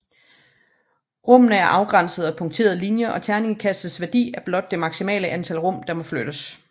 Rummene er afgrænset af punkterede linjer og terningkastets værdi er blot det maksimale antal rum der må flyttes